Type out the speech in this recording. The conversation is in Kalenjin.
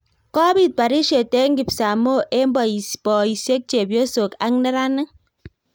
Kopit barishiet eng kipsamoo eng boisiek, chepyosok ak neranik.